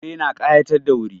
Fure na ƙayatar da wuri.